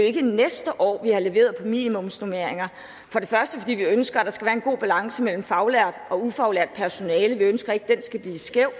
ikke næste år vi har leveret til minimumsnormeringer for det første fordi vi ønsker at der skal være en god balance mellem faglært og ufaglært personale vi ønsker ikke at den skal blive skæv